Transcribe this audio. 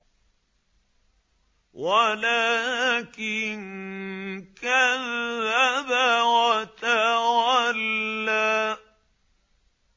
وَلَٰكِن كَذَّبَ وَتَوَلَّىٰ